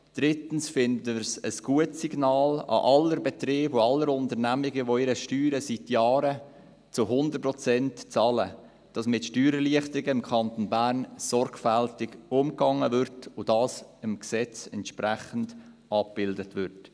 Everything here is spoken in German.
Drittens finden wir es ein gutes Signal an alle Betriebe und alle Unternehmen, die ihre Steuern seit Jahren zu 100 Prozent bezahlen, dass mit Steuererleichterungen im Kanton Bern sorgfältig umgegangen und dies im Gesetz entsprechend abgebildet wird.